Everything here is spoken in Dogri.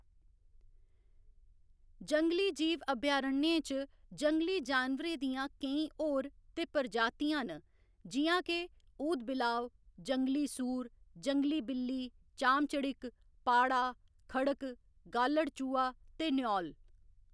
जंगली जीव अभयारण्यें च जंगली जानवरें दियां केईं होर ते प्रजातियां न जि'यां के ऊदबिलाव, जंगली सूर, जंगली बिल्ली, चाम चड़िक्क, पाढ़ा, खड़क, गालड़ चूहा ते न्यौल।